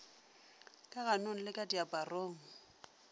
ka ganong le ka diaparong